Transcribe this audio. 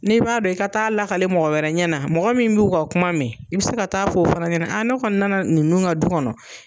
N'i b'a dɔn i ka taa lakali mɔgɔ wɛrɛ ɲɛna, mɔgɔ min b'u ka kuma mɛ. I bɛ se ka taa f'o fana ɲɛna ne kɔni nana ninnu ka du kɔnɔ